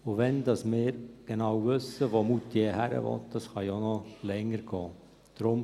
Wann wir genau wissen, wohin Moutier gehen will, das kann ja noch länger dauern.